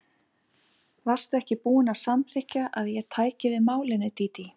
Varstu ekki búin að samþykkja að ég tæki við málinu, Dídí?